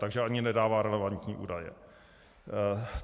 Takže ani nedává relevantní údaje.